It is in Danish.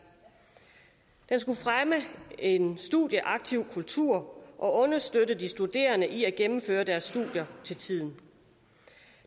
den skulle fremme en studieaktiv kultur og understøtte de studerende i at gennemføre deres studier til tiden